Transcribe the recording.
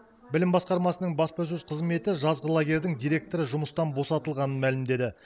білім басқармасының баспасөз қызметі жазғы лагерьдің директоры жұмыстан босатылғанын мәлімдеді